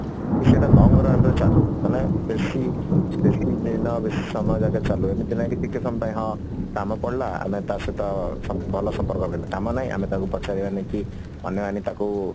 କି ସେଟା long long ରେ ଚାଲୁ ମାନେ ବେଶୀ ବେଶୀ ଦିନ ବେଶୀ ସମୟ ଯାଙ୍କେ ଚାଲୁ ଏମିତି ନାଇଁ କି ଟିକେ ସମୟ ପାଇଁ କି ହଁ କାମ ପଡିଲା ଆମେ ତା ସହିତ ଭଲ ସମ୍ପର୍କ କଲେ କାମ ନାହିଁ ଆମେ ଟାକୁ ପଚାରିବାନି କି ଅନେଇବାନି ତାକୁ